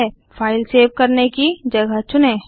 file save करने की जगह चुनें